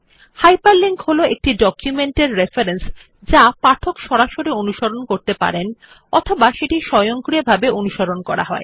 hyperlink হল একটি document এর রেফারেন্স যা পাঠক সরাসরি অনুসরণ করতে পারেন অথবা যেটি স্বয়ংক্রিয়ভাবে অনুসরণ করা হয়